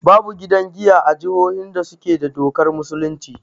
Babu gidan giya a jihohin da suke da dokar musulunci